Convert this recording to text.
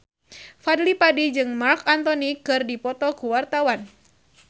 Fadly Padi jeung Marc Anthony keur dipoto ku wartawan